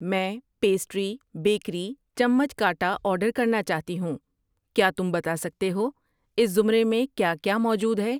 میں pastry, bakery, چمچ کانٹا آرڈر کرنا چاہتی ہوں، کیا تم بتا سکتے ہو اس زمرے میں کیا کیا موجود ہے؟